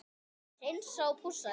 Hreinsa og pússa þig?